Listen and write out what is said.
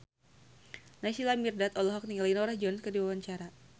Naysila Mirdad olohok ningali Norah Jones keur diwawancara